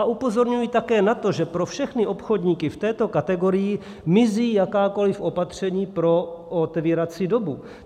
A upozorňuji také na to, že pro všechny obchodníky v této kategorii mizí jakákoliv opatření pro otevírací dobu.